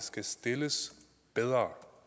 skal stilles bedre